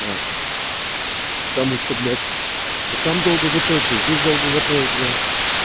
потому что блять там долго готовится здесь долго готовят для